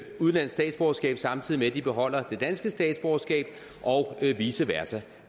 udenlandsk statsborgerskab samtidig med at de beholder det danske statsborgerskab og vice versa